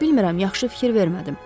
Bilmirəm, yaxşı fikir vermədim.